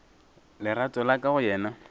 lerato la ka go yena